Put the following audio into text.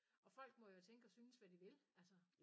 Og folk må jo tænke og synes hvad de vil altså